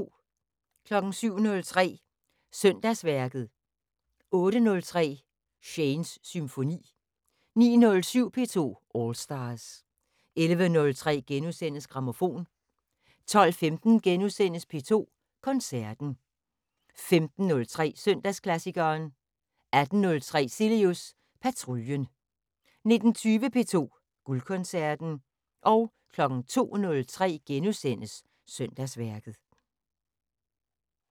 07:03: Søndagsværket 08:03: Shanes Symfoni 09:07: P2 All Stars 11:03: Grammofon * 12:15: P2 Koncerten * 15:03: Søndagsklassikeren 18:03: Cilius Patruljen 19:20: P2 Guldkoncerten 02:03: Søndagsværket *